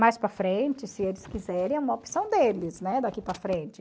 Mais para frente, se eles quiserem, é uma opção deles, né, daqui para frente.